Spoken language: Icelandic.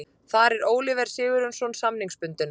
Þar er Oliver Sigurjónsson samningsbundinn.